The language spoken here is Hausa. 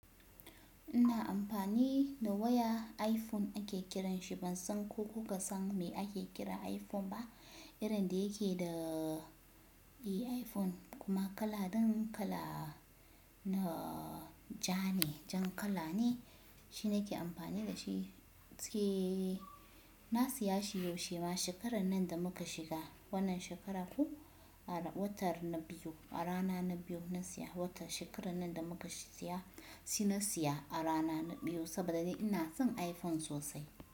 Ina amfani da waya iPhone ake kiranshi ban san ko kuka san me ake kira iPhone ba irin da yake da iPhone kuma kala ɗin kala na ja ne jan kala ne shi nake amfani da shi. Sai na siya shi yaushe ma? Shekaran nan da muka shiga wannan shekara ko a wata na biyu a rana na biyu na siya wato shekaran nan da muka shiga shi na siya a rana na biyu saboda ni ina son iPhone sosai.